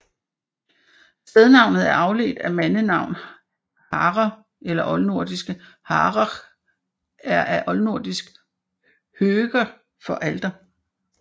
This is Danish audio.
Stednavnet er afledt af mandenavn Harre eller oldnordisk Harekr eller af oldnordisk hörgr for alter